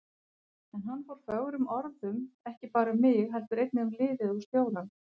En hann fór fögrum orðum, ekki bara um mig heldur einnig um liðið og stjórann.